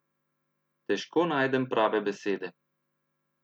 Težko najdem prave besede.